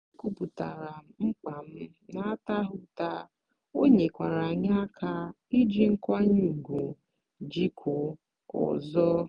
ekwupụtaara m mkpa m n'ataghị ụta ọ nyekwara anyị aka iji nkwanye ùgwù jikọọ ọzọ.